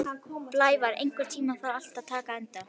Blævar, einhvern tímann þarf allt að taka enda.